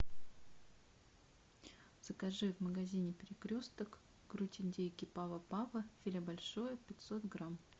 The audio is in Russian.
закажи в магазине перекресток грудь индейки пава пава филе большое пятьсот грамм